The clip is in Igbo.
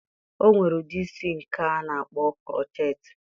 O nwere ụdị isi nke a na-akpọ krocheetị